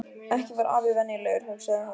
Ekki var afi venjulegur, hugsaði hún.